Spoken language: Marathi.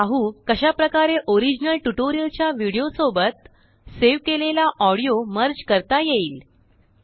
आता पाहू कशा प्रकारेओरिजिनल ट्यूटोरियलच्याविडिओ सोबतसेव केलेलाऑडियो मर्ज करता येईल